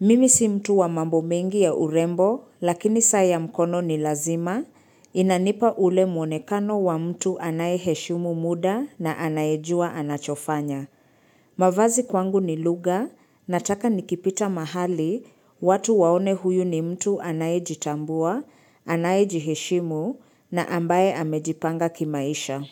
Mimi si mtu wa mambo mengi ya urembo lakini saa ya mkono ni lazima, inanipa ule mwonekano wa mtu anaye heshimu muda na anayejua anachofanya. Mavazi kwangu ni lugha nataka nikipita mahali watu waone huyu ni mtu anayejitambua, anayejiheshimu na ambaye amejipanga kimaisha.